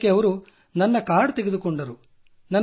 ಅದಕ್ಕೆ ಅವರು ನನ್ನ ಕಾರ್ಡ್ ತೆಗೆದುಕೊಂಡರು